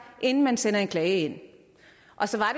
inden man sender en klage ind og så